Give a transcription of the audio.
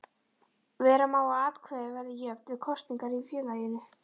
Vera má að atkvæði verði jöfn við kosningar í félaginu.